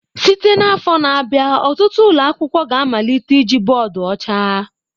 Site n'afọ na-abịa, ọtụtụ ụlọ akwụkwọ ga-amalite iji bọọdụ ọcha.